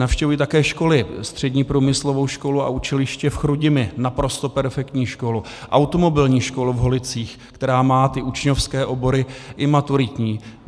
Navštěvuji také školy - Střední průmyslovou školu a učiliště v Chrudimi, naprosto perfektní škola, Automobilní školu v Holicích, která má ty učňovské obory i maturitní.